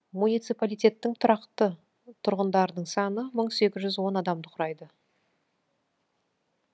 муниципалитеттің тұрақты тұрғындарының саны мың сегіз жүз он адамды құрайды